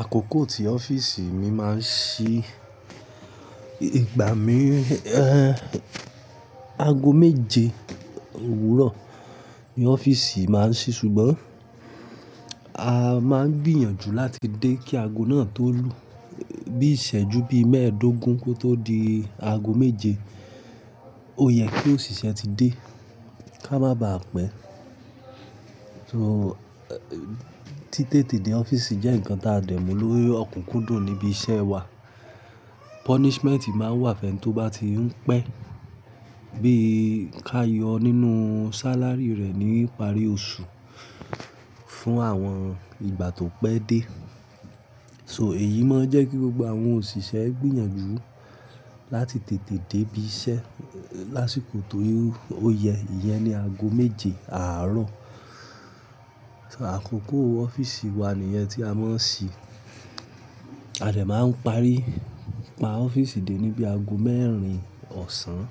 Àkókò tí ọ́fíìsì mi máa ń ṣí, ìgbà mí, aago méje òwúrọ̀ ni ọ́fíìsì máa ń ṣí ṣùgbọ́n a máa ń gbìyànjú láti dé kí aago náà tó lù. Bí ìṣẹ́ju bí mẹ́ẹ̀ẹ́dógún kó tó di aago méje, ò yẹ kí òṣìṣẹ́ ti dé ká má ba à pẹ́. So, ti tètè dé ọ́fíìsì jẹ́ ǹnkan táa dẹ̀ mú lórí ọ̀kùnkúndùn níbi iṣẹ́ wa. Punishment máa ń wà fẹ́ ni tó bá ti ń pẹ́, bí i ká yọ nínú salary rẹ̀ ní ìparí oṣù fún àwọn ìgbà tó pẹ́ dé. So èyí máa ń jẹ́ kí gbogbo àwọn òṣìṣẹ́ gbìyànjú láti tètè dé ibi iṣẹ́ lásìkò to ó yẹ, ìyẹn ni aago méje àárọ̀. So àkókò ọ́fíìsì wa nìyẹn tí a máa ń ṣí. A dè máa ń parí pa ọ́fíìsì dé ní bí aago mẹ́rin ọ̀sán,